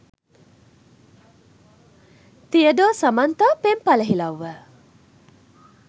තියඩෝ සමන්තා පෙම් පලහිලව්ව